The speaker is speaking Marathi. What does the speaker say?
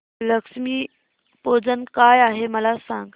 लक्ष्मी पूजन काय आहे मला सांग